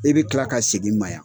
I be tila ka segin ma yan.